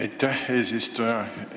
Aitäh, eesistuja!